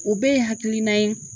O bɛɛ ye hakilinan ye.